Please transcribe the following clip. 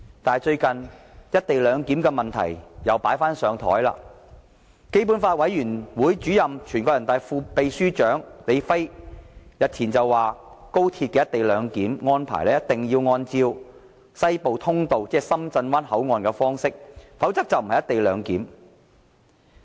但是，最近"一地兩檢"問題又被"擺上檯"，基本法委員會主任兼人大常委會副秘書長李飛日前表示，高鐵的"一地兩檢"安排一定要按照西部通道，即深圳灣口岸的方式，否則便不是"一地兩檢"。